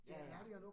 Ja ja